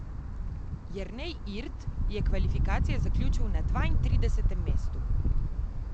Jernej Irt je kvalifikacije zaključil na dvaintridesetem mestu.